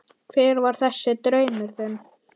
Hver var þessi draumur þinn?